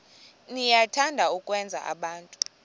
niyathanda ukwenza abantu